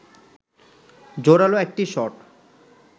জোরালো একটি শট